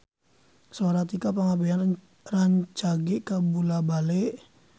Sora Tika Pangabean rancage kabula-bale